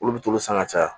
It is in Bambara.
Olu bɛ t'olu san ka caya